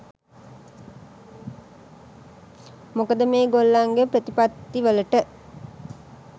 මොකද මේ ගොල්ලන්ගේ ප්‍රතිපත්ති වලට